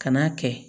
Kan'a kɛ